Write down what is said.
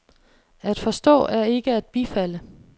At forstå er ikke at bifalde.